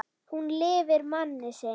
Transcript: Hún lifir mann sinn.